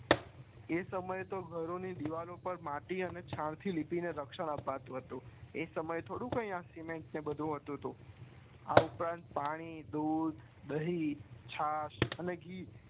એ સમય તો ઘરો ની દીવાલ માટીઅને છાણ થી લિપિ ને રક્ષણ અપાતું હતું એ સમય થોડી આ સિમેન્ટ ને બધું હતું આ ઉપરાંત પાણી દૂધ દહીં છાસ અને ઘી